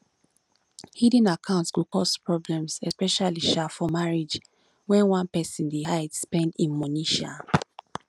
hidden accounts go cause problems especially um for marriage when one person dey hide spend um money um